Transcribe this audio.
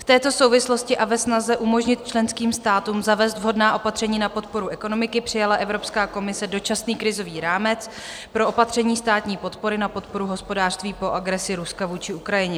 V této souvislosti a ve snaze umožnit členským státům zavést vhodná opatření na podporu ekonomiky přijala Evropská komise Dočasný krizový rámec pro opatření státní podpory na podporu hospodářství po agresi Ruska vůči Ukrajině.